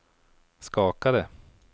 skakade